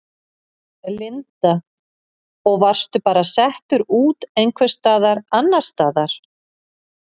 Linda: Og varstu bara settur út einhvers staðar annars staðar?